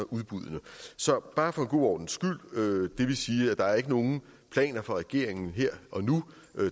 udbuddene så bare for en god ordens skyld det vil sige at der ikke er nogen planer fra regeringen her og nu